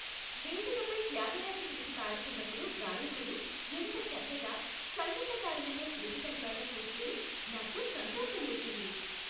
వేదికపై త్యాగరాజ కృతి పాడుతున్నప్పుడు గాయకుడు ఎంత చక్కగా సంగీతకారులతో శృతి కలిపాడో చూస్తే నాకు సంతోషం వేసింది.